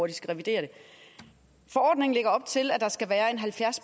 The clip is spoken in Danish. de skal revidere forordningen lægger op til at der skal være en halvfjerds